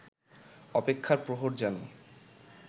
অপেক্ষার প্রহর যেন